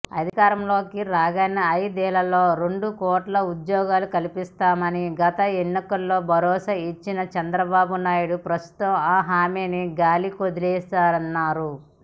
అధికారంలోకి రాగానే ఐదేళ్లలో రెండు కోట్ల ఉద్యోగాలు కల్పిస్తామని గత ఎన్నికల్లో భరోసాయిచ్చిన చంద్రబాబునాయుడు ప్రస్తుతం ఆ హామీ గాలికొదిలేశారన్నారు